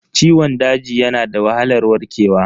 Ciwon daji yana da wahalar warkewa.